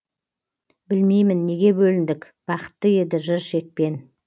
білмеймін неге бөліндік бақытты еді жыр шекпен